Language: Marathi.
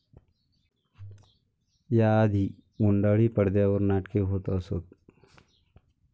या आधी गुंडाळी पडद्यावर नाटके होत असत.